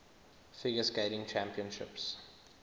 figure skating championships